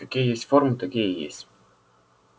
какие есть формы такие и есть